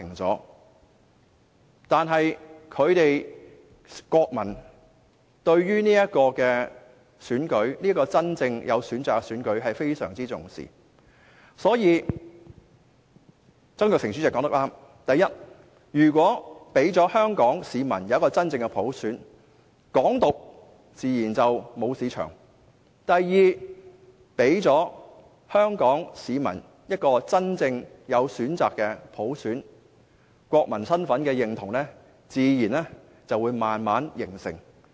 然而，英國國民非常重視這個真正有選擇的選舉，所以前立法會主席曾鈺成說得對——第一，如果給予香港市民真正的普選，"港獨"自然沒有市場；第二，給予香港市民一個真正有選擇的普選，國民身份的認同便自然會逐漸形成。